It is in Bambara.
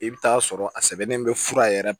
I bɛ taa sɔrɔ a sɛbɛnnen bɛ fura yɛrɛ